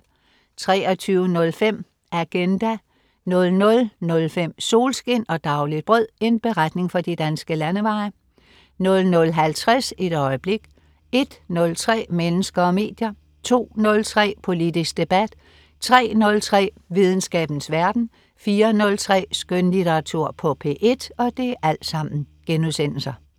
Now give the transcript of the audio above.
23.05 Agenda* 00.05 Solskin og dagligt brød. En beretning fra de danske landeveje* 00.50 Et øjeblik* 01.03 Mennesker og medier* 02.03 Politisk debat* 03.03 Videnskabens verden* 04.03 Skønlitteratur på P1*